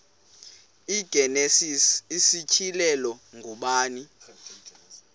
igenesis isityhilelo ngubani